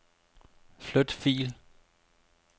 Flyt fil.